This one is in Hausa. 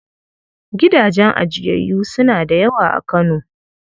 Gidajen ajiyayyu suna da yawa a Kano.